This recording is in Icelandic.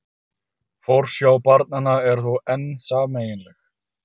Forsjá barnanna er þó enn sameiginleg